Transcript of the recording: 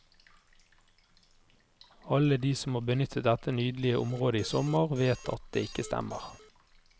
Alle de som har benyttet dette nydelige området i sommer, vet at det ikke stemmer.